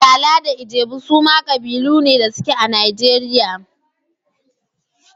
Igala da Ijebu suma kabilu ne da suke a Najeriya.